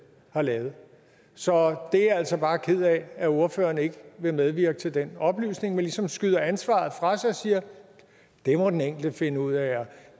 har lavet så jeg er altså bare ked af at ordføreren ikke vil medvirke til den oplysning men ligesom skyder ansvaret fra sig og siger det må den enkelte finde ud af og